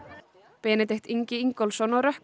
Benedikt Ingi Ingólfsson og